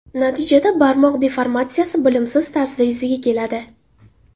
Natijada barmoq deformatsiyasi bilimsiz tarzda yuzaga keladi.